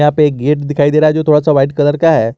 यहां पे एक गेट दिखाई दे रहा है जो थोड़ा सा व्हाइट कलर का है।